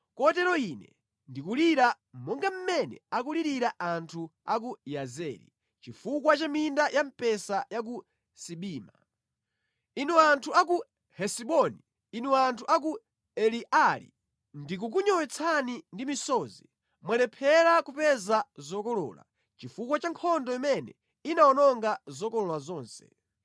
Kotero Ine ndikulira, monga mmene akulirira anthu a ku Yazeri, chifukwa cha minda ya mpesa ya ku Sibima. Inu anthu a ku Hesiboni, inu anthu a ku Eleali, ndikukunyowetsani ndi misozi! Mwalephera kupeza zokolola, chifukwa cha nkhondo imene inawononga zokolola zonse.